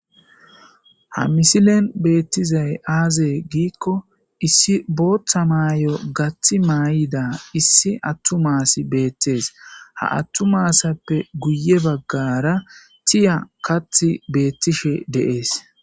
ha misilen beettizay aazee giikko issi booththa maayo gathi maay7ida issi attu maasi beettees ha attu maassappe guye baggara tiya kath beettishe deees